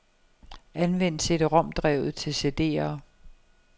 Anvend cd-rom-drevet til cd'er.